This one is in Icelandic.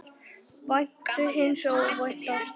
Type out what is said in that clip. Væntu hins óvænta.